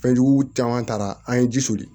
Fɛnjugu caman taara an ye ji soli